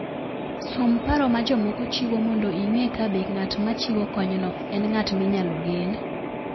Som paro ma jomoko chiwo mondo ing'e kabe ng'at ma chiwo konyno en ng'at minyalo gen.